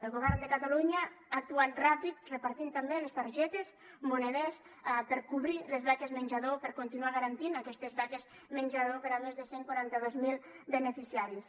el govern de catalunya ha actuat ràpid repartint també les targetes moneders per a cobrir les beques menjador per a continuar garantint aquestes beques menjador per a més de cent i quaranta dos mil beneficiaris